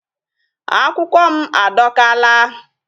Akwukwo m adọkaala.